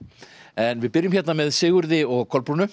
en við byrjum hérna með Sigurði og Kolbrúnu